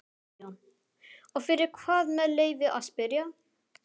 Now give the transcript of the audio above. BAUJA: Og fyrir hvað með leyfi að spyrja?